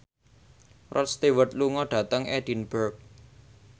Rod Stewart lunga dhateng Edinburgh